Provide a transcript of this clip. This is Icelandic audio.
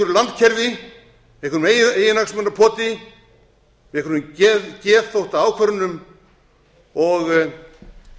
drulla yfir þá og eru fastir í einhverju landkerfi einhverju eiginhagsmunapoti einhverjum geðþóttaákvörðunum og tryllingslegri hugsun